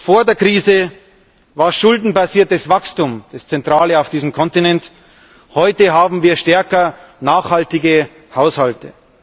Vor der Krise war schuldenbasiertes Wachstum das Zentrale auf diesem Kontinent, heute haben wir stärker nachhaltige Haushalte.